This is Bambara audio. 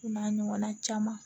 O n'a ɲɔgɔnna caman